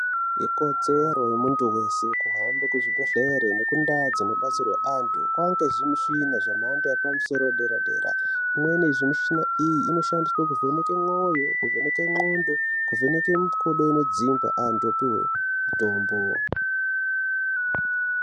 Ikodzero yemuntu weshe kuhambe kuzvibhedhlera nekundau dzino batsirwe antu kwaane zvimushina zvemhando yepamusoro yedera dera zvimweni zvimushina iyi zvinoshandiswe kuvheneke mwoyo kuvheneke ngqondo nekuvheneke mikodo inodzimba antu opiwe mitombo .